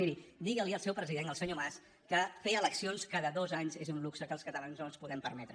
miri diguili al seu president el senyor mas que fer eleccions cada dos anys és un luxe que els catalans no ens podem permetre